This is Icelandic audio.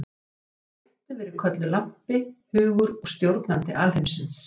Hún hefur með réttu verið kölluð lampi, hugur og stjórnandi alheimsins.